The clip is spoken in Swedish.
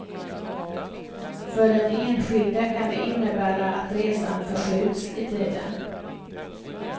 För den enskilde kan det innebära att resan förskjuts i tiden.